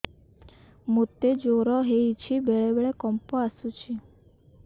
ମୋତେ ଜ୍ୱର ହେଇଚି ବେଳେ ବେଳେ କମ୍ପ ଆସୁଛି